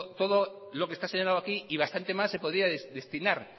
todo lo que está señalado aquí y bastante más se podría destinar